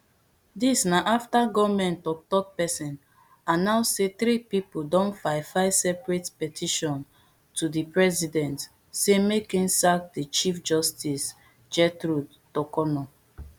dis na afta goment tok tok pesin announce saythree pipo don file file separate petitionsto di president say make im sack di chief justice gertrude torkornoo